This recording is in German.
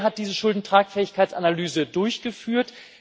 Wer hat diese Schuldentragfähigkeitsanalyse durchgeführt?